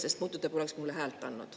… sest muidu te poleks mulle häält andnud."